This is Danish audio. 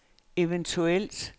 eventuelt